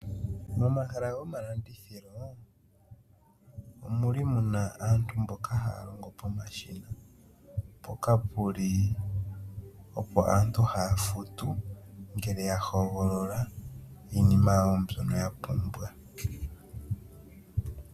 Momahala gomalandithilo omuli muna aantu mboka haya longo pomashina mpoka puli opo aantu haya futu ngele ya hogolola iinima yawo mbyono ya pumbwa.